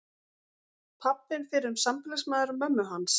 Pabbinn fyrrum sambýlismaður mömmu hans.